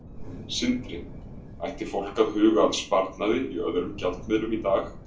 Sindri: Ætti fólk að huga að sparnaði í öðrum gjaldmiðlum í dag?